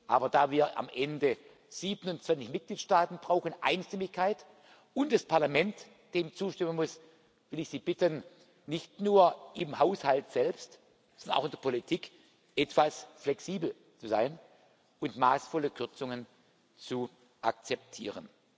aber da wir am Ende 27 Mitgliedstaaten brauchen Einstimmigkeit und das Parlament dem zustimmen muss, will ich Sie bitten, nicht nur im Haushalt selbst, sondern auch in der Politik etwas flexibel zu sein und maßvolle Kürzungen zu akzeptieren.